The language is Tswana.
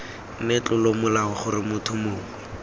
nne tlolomolao gore motho mongwe